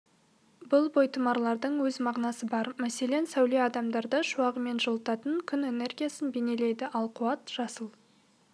бұл бойтұмарлардың өз мағынасы бар мәселен сәуле адамдарды шуағымен жылытатын күн энергиясын бейнелейді ал қуат жасыл